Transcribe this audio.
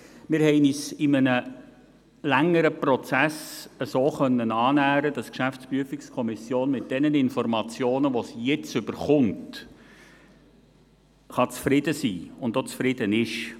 Wir haben uns in einem längeren Prozess so annähern können, dass die GPK mit denjenigen Informationen, die sie jetzt erhält, zufrieden sein kann und auch zufrieden ist.